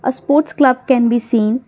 a sports club can be seen.